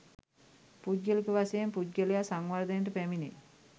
පුද්ගලික වශයෙන් පුද්ගලයා සංවර්ධනයට පැමිණේ.